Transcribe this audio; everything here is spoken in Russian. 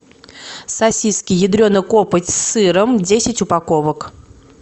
сосиски ядрена копоть с сыром десять упаковок